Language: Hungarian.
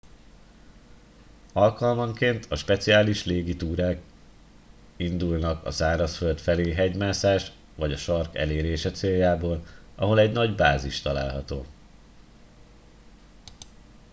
alkalmanként a speciális légi túrák indulnak a szárazföld felé hegymászás vagy a sark elérése céljából ahol egy nagy bázis található